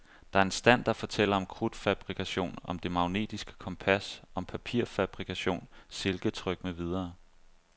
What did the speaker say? Der er en stand, der fortæller om krudtfabrikation, om det magnetiske kompas, om papirfabrikation, silketryk med videre.